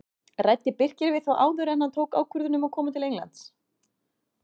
Ræddi Birkir við þá áður en hann tók ákvörðun um að koma til Englands?